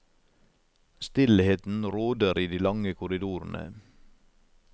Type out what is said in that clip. Stillheten råder i de lange korridorene.